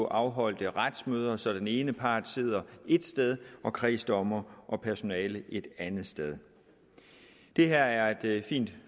afholde videoretsmøder så den ene part sidder et sted og kredsdommer og personale et andet sted det her er et fint